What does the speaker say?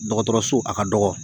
Dɔgɔtɔrɔso a ka dɔgɔ